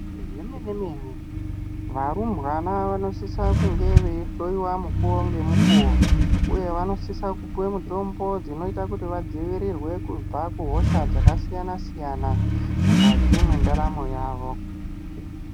Zvemene mene varumbwana vanosisa kunge veihloyiwa mukuwo ngemukuwo uye vanosise kupuwa mitombo dzinoita kuti vadzivirirwe kuhosha dzakasiyana siyana mukati mwendaramo yavo.